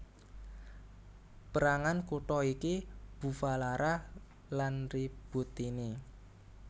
Pérangan kutha iki Bufalara lan Ributtini